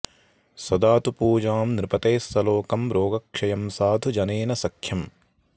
सदा तु पूजां नृपतेः सलोकं रोगक्षयं साधुजनेन सख्यम्